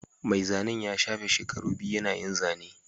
Mai zanen ya shafe shekaru biyu yana yin zane